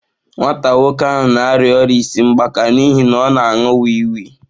Nwa nwoke ahụ na-arịa ọrịa isi mgbaka n'ihi na ọ na-aṅụ wii wii.